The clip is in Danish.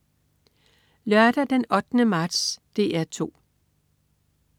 Lørdag den 8. marts - DR 2: